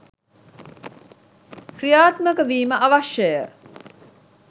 ක්‍රියාත්මකවීම අවශ්‍යය.